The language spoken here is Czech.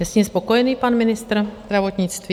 Je s ním spokojený pan ministr zdravotnictví?